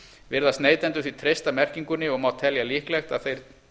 virðast neytendur því treysta merkingunni og má telja líklegt að þeir